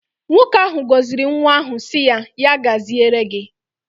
Nwoke ahụ gọziri nwa ahụ sị ya " ya gaziere gị".